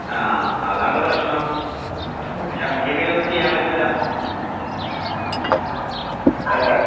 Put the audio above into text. ആഹ് അതാണ് പ്രശ്നം. പക്ഷെ നമ്മക്കിപ്പിതിലൊന്നും ചെയ്യാൻ പറ്റൂല്ല. ഏഹ്